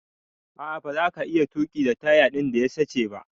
A'a baza ka iya tuki da taya din da ya sache ba.